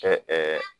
Kɛ